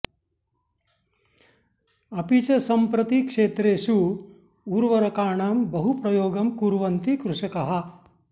अपि च सम्प्रति क्षेत्रेषु उर्वरकाणां बहुप्रयोगं कुर्वन्ति कृषकाः